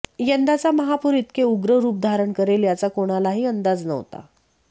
यंदाचा महापूर इतके उग्र रूप धारण करेल याचा कोणालाही अंदाज नव्हता